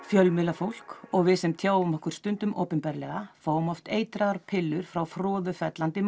fjölmiðlafólk og við sem tjáum okkur stundum opinberlega fáum oft eitraðar pillur frá froðufellandi